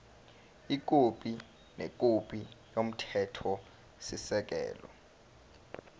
ikhophi nekhophi yomthethosisekelo